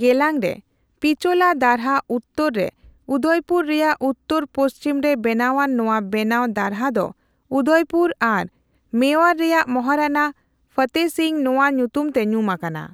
ᱜᱮᱞᱟᱝ ᱨᱮ ᱯᱤᱪᱳᱞᱟ ᱫᱟᱨᱦᱟ ᱩᱛᱛᱚᱨ ᱨᱮ ᱩᱫᱚᱭᱯᱩᱨ ᱨᱮᱭᱟᱜ ᱩᱛᱛᱚᱨ ᱯᱚᱥᱪᱷᱤᱢ ᱨᱮ ᱵᱮᱱᱟᱣᱟᱱ ᱱᱚᱣᱟ ᱵᱮᱱᱟᱣ ᱫᱟᱨᱦᱟ ᱫᱚ ᱩᱫᱚᱭᱯᱩᱨ ᱟᱨ ᱢᱮᱵᱟᱨ ᱨᱮᱭᱟᱜ ᱢᱚᱦᱟᱨᱟᱱᱟ ᱯᱷᱚᱛᱮᱦᱚ ᱥᱤᱝᱼᱱᱚᱣᱟ ᱧᱩᱛᱩᱢᱛᱮ ᱧᱩᱢᱟᱠᱟᱱᱟ ᱾